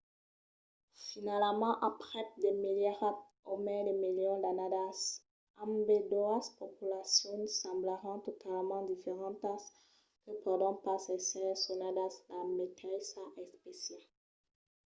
finalament aprèp de milierats o mai de milions d’annadas ambedoas populacions semblaràn talament diferentas que pòdon pas èsser sonadas la meteissa espècia